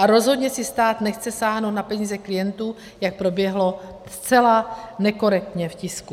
A rozhodně si stát nechce sáhnout na peníze klientů, jak proběhlo zcela nekorektně v tisku.